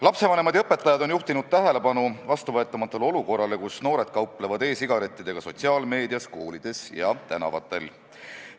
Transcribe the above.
Lapsevanemad ja õpetajad on juhtinud tähelepanu vastuvõetamatule olukorrale, kus noored kauplevad e-sigarettidega sotsiaalmeedias, koolides ja tänavatel.